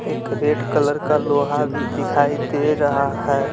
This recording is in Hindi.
एक रेड कलर का लोहा भी दिखाई दे रहा है।